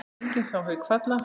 Enginn sá Hauk falla.